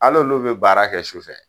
Hal'olu be baara kɛ su fɛ.